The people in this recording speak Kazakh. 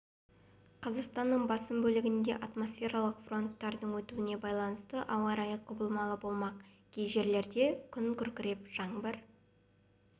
қазақстанның басым бөлгініде атмосфералық фронттардың өтуіне байланысты ауа райы құбылмалы болмақ кей жерлерде күн күркіреп жаңбыр